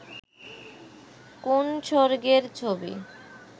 কোন্ স্বর্গের ছবি